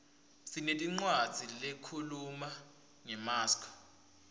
sinetincwadzi lehkhuluma ngemaskco